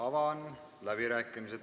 Avan fraktsioonide läbirääkimised.